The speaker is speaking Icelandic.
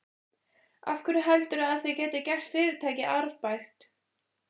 Af hverju heldurðu að þið getið gert fyrirtækið arðbært?